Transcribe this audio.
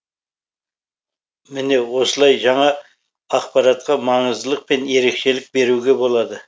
міне осылай жаңа ақпаратқа маңыздылық пен ерекшілік беруге болады